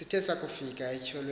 sithe sakufika etyholweni